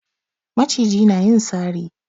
Maciji na yin sari